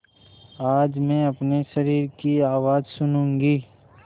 आज मैं अपने शरीर की आवाज़ सुनूँगी